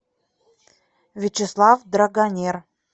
вячеслав драгонер